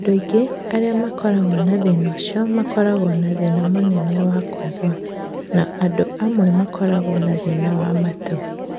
Andũ aingĩ arĩa makoragwo na thĩna ũcio makoragwo na thĩna mũnene wa kũigua, no andũ amwe makoragwo na thĩna wa matũ.